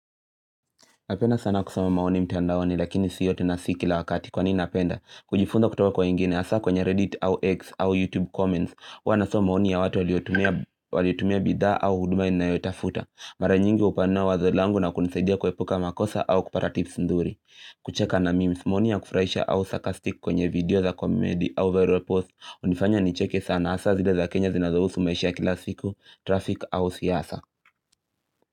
Napenda sana kusoma maoni mtandaoni lakini si yote na si kila wakati kwa nini napenda? Kujifunza kutoka kwa wengine hasa kwenye Reddit au X au YouTube comments hua nasom maoni ya watu waliotumia bidhaa au huduma ninayotafuta mara nyingi hupanua wazo langu na kunisaidia kuepuka makosa au kupata tips nzuri kucheka na memes, maoni ya kufurahisha au saka sarcastic kwenye video za komedi au viral post hunifanya nicheke sana hasa zile za Kenya zinazo husu maisha kila siku, traffic au siasa.